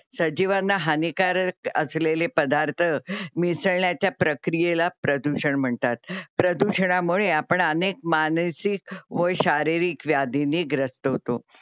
सजीवांना हानिकारक असलेले पदार्थ मिसळण्याच्या प्रक्रीयला प्रदूषण म्हणतात. प्रदूषणामुळे आपण अनेक मानसिक व शारीरिक व्याधींनी ग्रस्त होतो.